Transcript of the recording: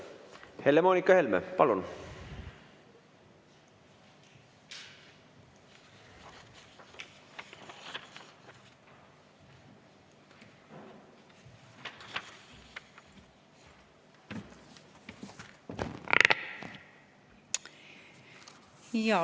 Helle-Moonika Helme, palun!